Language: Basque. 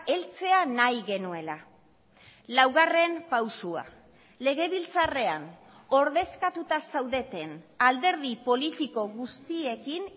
heltzea nahi genuela laugarren pausua legebiltzarrean ordezkatuta zaudeten alderdi politiko guztiekin